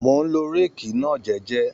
Mò ń lo réèkì náà jẹ́jẹ́